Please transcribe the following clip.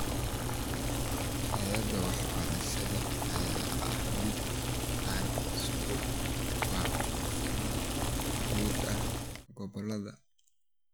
Tayada waxbarashada ayaa ah mid aan isku waafaqsanayn guud ahaan gobolada.